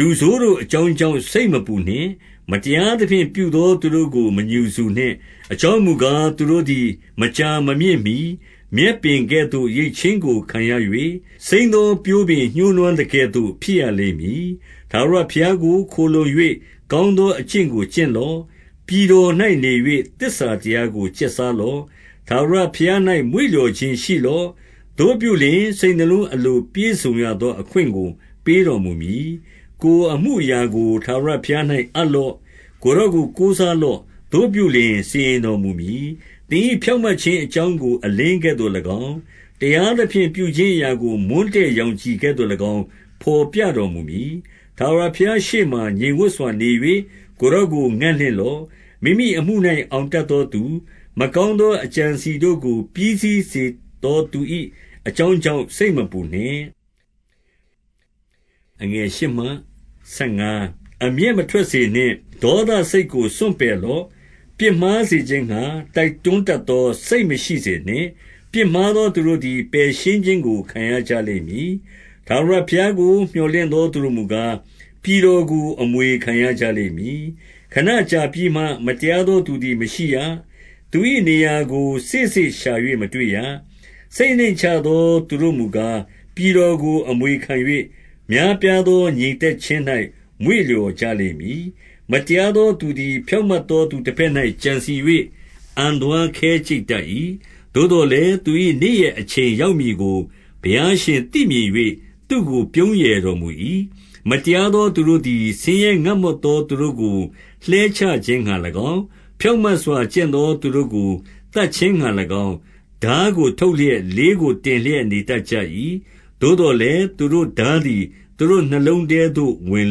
လူဆိုးတို့အကြောင်းကြောင့် စိတ်မပူနှင့်။ မတရား သဖြင့် ပြုသောသူတို့ကို မငြူစူနှင့်။ 2 အကြောင်းမူကား၊ သူတို့သည် မကြာမမြင့်မှီ မြက်ပင်ကဲ့သို့ ရိတ်ခြင်းကိုခံရ၍၊ စိမ်းသောပျိုးပင် ညှိုးနွမ်းသကဲ့သို့ ဖြစ်ရလိမ့်မည်။ 3 ထာဝရဘုရားကို ခိုလှုံ၍၊ ကောင်းသောအကျင့် ကို ကျင့်လော့။ ပြည်တော်၌နေ၍၊ သစ္စာတရားကို ကျက်စားလော့။ 4 ထာဝရဘုရား၌ မွေ့လျော်ခြင်းရှိလော့။ သူတို့ပြု လျှင်၊ စိတ်နှလုံး အလိုပြည့်စုံရသောအခွင့်ကို ပေးတော် မူမည်။ 5 ကိုယ်အမှုအရာကို ထာဝရဘုရား၌ အပ်လော့။ ကိုယ်တော်ကို ကိုးစားလော့။ သို့ပြုလျှင်စီရင်တော် မူမည်။ 6 သင်၏ဖြောင့်မတ်ခြင်းအကြောင်းကို အလင်း ကဲ့သို့၎င်း၊ တရားသဖြင့်ပြုခြင်းအရာကို မွန်းတည့်ရောင် ခြည်ကဲ့သို့၎င်း၊ ဘော်ပြတော်မူမည်။ 7 ထာဝရဘုရားရှေ့မှာ ငြိမ်ဝပ်စွာနေ၍၊ ကိုယ် တော်ကိုငံ့လင့်လော့။ မိမိအမှု၌ အောင်တတ်သောသူ၊ မကောင်းသောအကြံအစည်တို့ကို ပြီးစေသောသူ၏ အကြောင်းကြောင့် စိတ်မပူနှင့်။ 8 အမျက်မထွက်စေနှင့်။ ဒေါသစိတ်ကို စွန့်ပယ် လော့။ ပြစ်မှားစေခြင်းငှါ တိုက်တွန်းတတ်သော စိတ် မရှိစေနှင့်။ 9 ပြစ်မှားသောသူတို့သည် ပယ်ရှင်းခြင်းကို ခံရကြ လိမ့်မည်။ ထာဝရဘုရားကို မြော်လင့်သောသူတို့မူကား၊ ပြည်တော်ကို အမွေခံရကြလိမ့်မည်။ 10 ခဏကြာပြီးမှ၊ မတရားသောသူသည်မရှိရ။ သူ၏နေရာကိုစေ့စေ့ရှာ၍မတွေ့ရ။ 11 စိတ်နှိမ့်ချသောသူတို့မူကား၊ ပြည်တော်ကို အမွေခံ၍၊ များပြားသောငြိမ်သက်ခြင်း၌ မွေ့လျော်ကြ လိမ့်မည်။ 12 မတရားသောသူသည် ဖြောင့်မတ်သော သူတဘက်၌ ကြံစည်၍ အံသွားခဲကြိတ်တတ်၏။ 13 သို့သော်လည်း သူ၏ နေ့ရက်အချိန်ရောက်မည် ကို ဘုရားရှင်သိမြင်၍၊ သူ့ကိုပြုံးရယ်တော်မူ၏။ 14 မတရားသောသူတို့သည် ဆင်းရဲငတ်မွတ်သော သူတို့ကို လှဲချခြင်းငှါ၎င်း၊ ဖြောင့်မတ်စွာကျင့်သော သူတို့ကိုသတ်ခြင်းငှါ၎င်း၊ ထားကိုထုတ်လျက်၊ လေးကို တင်လျက် နေတတ်ကြ၏။ 15 သို့သော်လည်း၊ သူတို့ထားသည် သူတို့နှလုံးထဲသို့ ဝင်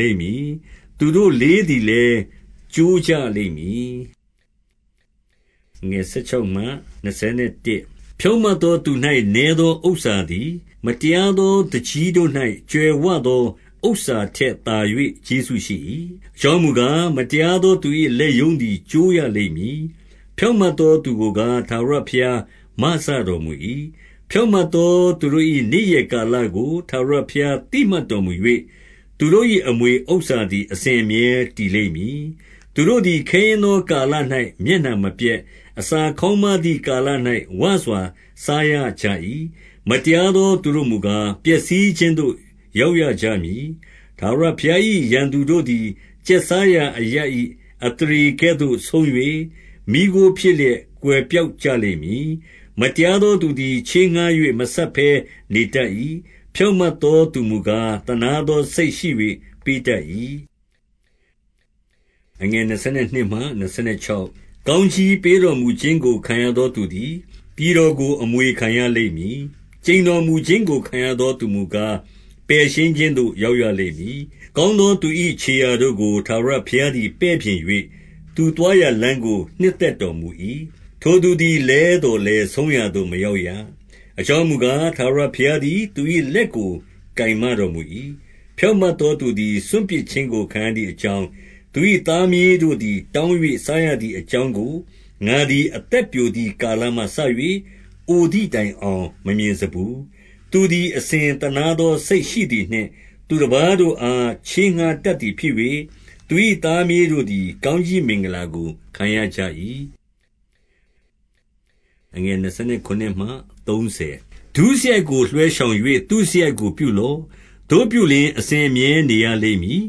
လိမ့်မည်။ သူတို့လေးတို့သည်လည်း ကျိုးကြလိမ့်မည်။ 16 ဖြောင့်မတ်သောသူ၌ နည်းသောဥစ္စာသည် မတရားသောသူကြီးတို့၌ ကြွယ်ဝသောဥစ္စာထက် သာ၍ကျေးဇူးရှိ၏။ 17 အကြောင်းမူကား၊ မတရားသောသူ၏လက်ရုံး သည် ကျိုးရလိမ့်မည်။ ဖြောင့်မတ်သောသူကိုကား၊ ထာဝရ ဘုရားမစတော်မူ၏။ 18 ဖြောင့်မတ်သောသူတို့၏ နေ့ရက်ကာလကို ထာဝရဘုရားသိမှတ်တော်မူ၍၊ သူတို့၏ အမွေဥစ္စာသည် အစဉ်အမြဲတည်လိမ့်မည်။ 19 သူတို့သည် ခဲယဉ်းသောကာလ၌ မျက်နှာမပျက်၊ အစာခေါင်းပါးသည်ကာလ၌ ဝစွာစားရကြ၏။ 20 မတရားသောသူတို့မူကား၊ ပျက်စီးခြင်းသို့ ရောက်ရကြမည်။ ထာဝရဘုရား၏ ရန်သူတို့သည် ကျက်စားရာအရပ်၏အသရေကဲ့သို့ဆုံး၍၊ မီးခိုးဖြစ်လျက် ကွယ်ပျောက်ကြလိမ့်မည်။ 21 မတရားသောသူသည် ချေးငှါး၍ မဆပ်ဘဲ နေတတ်၏။ ဖြောင့်မတ်သောသူမူကား၊ သနားသော စိတ်ရှိ၍ ပေးတတ်၏။ 22 ကောင်းကြီးပေးတော်မူခြင်းကို ခံရသောသူ သည် ပြည်တော်ကို အမွေခံရလိမ့်မည်။ ကျိန်တော်မူခြင်း ကို ခံရသော သူမူကား၊ ပယ်ရှင်းခြင်းသို့ ရောက်ရလိမ့် မည်။ 23 ကောင်းသောသူ၏ခြေရာတို့ကို ထာဝရဘုရား သည် ပဲ့ပြင်၍၊ သူသွားရာလမ်းကို နှစ်သက်တော်မူ၏။ 24 ထိုသူသည် လဲသော်လည်း ဆုံးရာသို့မရောက်ရ။ အကြောင်းမူကား၊ ထာဝရဘုရားသည် သူ၏လက်ကို ကိုင်မတော်မူ၏။ 25 ဖြောင့်မတ်သောသူသည် စွန့်ပစ်ခြင်းကိုခံရ သည်အကြောင်း၊ သူ၏သားမြေးတို့သည် တောင်း၍ စားရသည်အကြောင်းကို ငါသည် အသက်ပျိုသည် ကာလမှစ၍ အိုသည်တိုင်အောင် မမြင်စဖူး။ 26 သူသည်အစဉ်သနားသော စိတ်ရှိသည်နှင့်၊ သူတပါးတို့အား ချေးငှါးတတ်သည်ဖြစ်၍၊ သူ၏သားမြေး တို့သည် ကောင်းကြီးမင်္ဂလာကိုခံ ရကြ၏။ 27 ဒုစရိုက်ကိုလွှဲရှောင်၍ သုစရိုက်ကို ပြုလော့။ သို့ပြုလျှင် အစဉ်အမြဲနေရလိမ့်မည်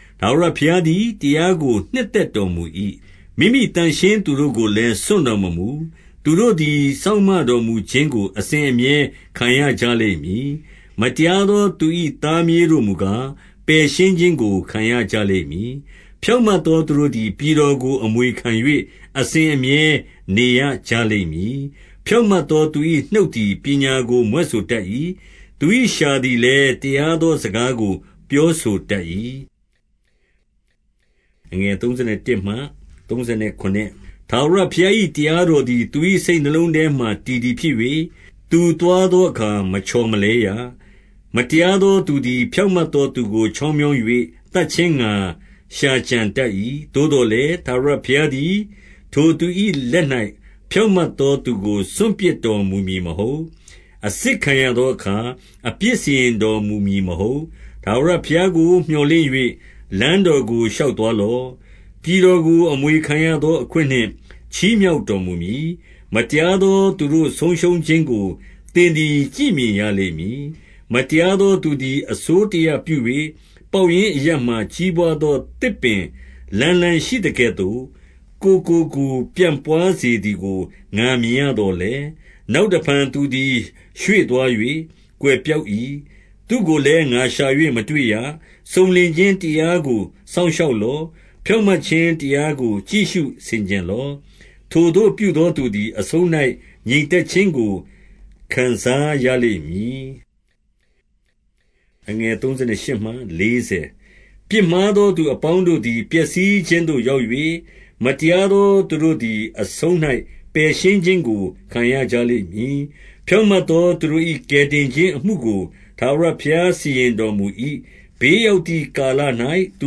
။ 28 ထာဝရဘုရားသည် တရားကိုနှစ်သက်တော် မူ၏။ မိမိသန့်ရှင်းသူတို့ကိုလည်း စွန့်တော်မမူ။ သူတို့သည် စောင့်မတော်မူခြင်းကို အစဉ်အမြဲခံရကြလိမ့်မည်။မတရားသောသူ၏ သားမြေးတို့မူကား၊ ပယ်ရှင်းခြင်းကို ခံရကြလိမ့်မည်။ 29 ဖြောင့်မတ်သောသူတို့သည် ပြည်တော်ကို အမွေ ခံ၍ အစဉ်အမြဲ နေရကြလိမ့်မည်။ 30 ဖြောင့်မတ်သောသူ၏နှုတ်သည် ပညာကို မြွက်ဆိုတတ်၏။ သူ၏လျှာသည်လည်း တရားသော စကားကို ပြောဆိုတတ်၏။ 31 ထာဝရဘုရား၏ တရားတော်သည် သူ၏ စိတ်နှလုံးထဲမှာ တည်သည်ဖြစ်၍၊ သူသွားသောအခါ မချော်မလဲရ။ 32 မတရားသောသူသည် ဖြောင့်မတ်သောသူကို ချောင်းမြောင်း၍ သတ်ခြင်းငှါ ရှာကြံတတ်၏။ 33 သို့သော်လည်း၊ ထာဝရဘုရားသည် ထိုသူ၏ လက်၌ ဖြောင့်မတ်သောသူကို စွန်ပစ်တော်မူမည်မဟုတ်။ အစစ်ခံရသောအခါ အပြစ်စီရင်တော်မူမည်မဟုတ်။ 34 ထာဝရဘုရားကို မြော်လင့်၍၊ လမ်းတော်ကို ရှောက်သွားလော့။ ပြည်တော်ကို အမွေခံရသောအခွင့်နှင့် ချီးမြှောက်တော်မူမည်။ မတရားသောသူတို့ ဆုံးရှုံးခြင်းကို သင်သည် ကြည့်မြင်ရလိမ့်မည်။ 35 မတရားသောသူသည် အစိုးတရပြု၍၊ ပေါက်ရင် အရပ်မှာကြီးပွားသော သစ်ပင်လန်းလန်းရှိသကဲ့သို့၊ ကိုယ်ကိုကိုယ်ပြန်ပွါးစေသည်ကို ငါမြင်ရသော်လည်း၊ 36 နောက်တဖန်သူသည် ရွေ့သွား၍ ကွယ်ပျောက် ၏။ သူ့ကိုလည်း ငါရှာ၍မတွေ့ရ။ 37 စုံလင်ခြင်းတရားကိုစောင့်ရှောက်လော့။ ဖြောင့် မတ်ခြင်းတရားကို ကြည့်ရှုဆင်ခြင်လော့။ ထိုသို့ပြုသော သူသည် အဆုံး၌ ငြိမ်သက်ခြင်းကို ခံစားရလိမ့်မည်။ 38 ပြစ်မှားသောသူအပေါင်းတို့သည် ပျက်စီးခြင်းသို့ ရောက်၍၊ မတရားသောသူတို့သည် အဆုံး၌ပယ်ရှင်းခြင်းကို ခံရကြလိမ့်မည်။ 39 ဖြောင့်မတ်သောသူတို့၏ ကယ်တင်ခြင်းအမှုကို ထာဝရဘုရားစီရင်တော်မူ၏။ ဘေးရောက်သည်ကာလ၌ သူ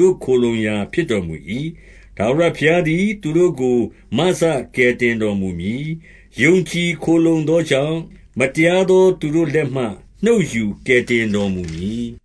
တို့ခိုလှုံရာဖြစ်တော်မူ၏။ 40 ထာဝရဘုရားသည် သူတို့ကို မစကယ်တင်တော် မူမည်။ ယုံကြည်ခိုလှုံသောကြောင့်၊ မတရားသောသူတို့ လက်မှ နှုတ်ယူကယ်တင်တော်မူမည်။